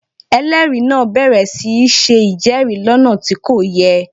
Ẹlẹ́rìí náà bẹ̀rẹ̀ sí í ṣe ìjẹ́rìí lọ́nà tí kò yẹ